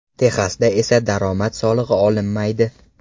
Texasda esa daromad solig‘i olinmaydi.